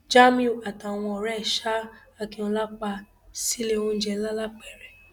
jamiu àtàwọn ọrẹ ẹ ṣa akinola pa sílé oúnjẹ lalápẹrẹ